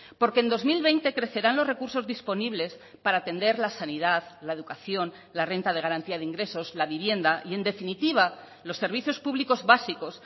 porque en dos mil veinte crecerán los recursos disponibles para atender la sanidad la educación la renta de garantía de ingresos la vivienda y en definitiva los servicios públicos básicos